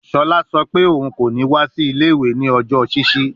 Shola sọ pe oun ko ni wa si ile-iwe ni ọjọ ṣiṣi